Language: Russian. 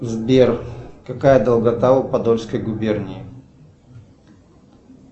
сбер какая долгота у подольской губернии